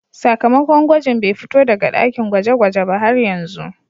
Sakamakon gwajin bai fito daga dakin gweje-gwaje ba har yanzu.